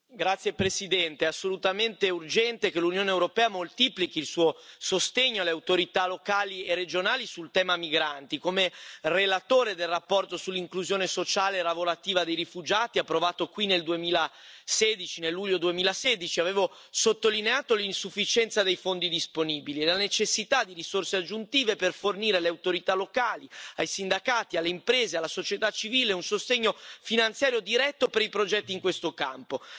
Signor Presidente, onorevoli colleghi, è assolutamente urgente che l'Unione europea moltiplichi il suo sostegno alle autorità locali e regionali sul tema migranti. Come relatore della relazione sull'inclusione sociale e lavorativa dei rifugiati approvata qui nel luglio 2016, avevo sottolineato l'insufficienza dei fondi disponibili e la necessità di risorse aggiuntive per fornire alle autorità locali, ai sindacati, alle imprese, alla società civile, un sostegno finanziario diretto per i progetti in questo campo.